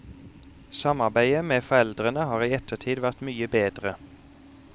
Samarbeidet med foreldrene har i ettertid vært mye bedre.